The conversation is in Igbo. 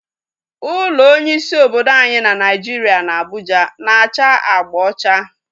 Ụlọ onye isi obodo anyị bụ Naijiria na Abuja na-acha agba ocha